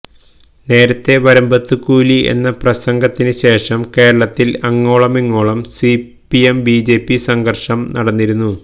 നേരത്തെ വരമ്പത്തു കൂലി എന്ന പ്രസംഗത്തിന് ശേഷം കേരളത്തിൽ അങ്ങോളമിങ്ങോളം സിപിഎം ബിജെപി സംഘർഷം നടന്നിരുന്നു